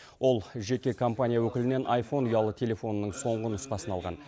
ол жеке компания өкілінен айфон ұялы телефонының соңғы нұсқасын алған